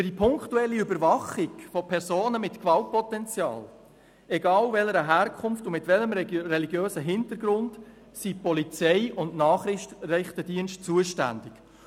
Für die punktuelle Überwachung von Personen mit Gewaltpotenzial, egal welcher Herkunft und mit welchem religiösen Hintergrund, sind Polizei und Nachrichtendienste zuständig.